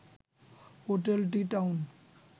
hotel T-Town